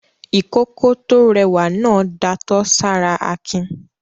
Ìkókó tó rẹwà náà datọ́ sára Akin.